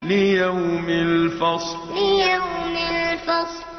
لِيَوْمِ الْفَصْلِ لِيَوْمِ الْفَصْلِ